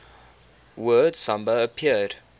word samba appeared